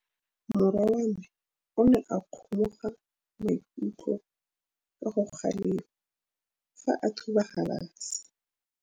Morwa wa me o ne a kgomoga maikutlo ka go galefa fa a thuba galase.